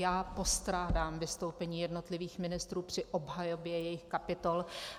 Já postrádám vystoupení jednotlivých ministrů při obhajobě jejich kapitol.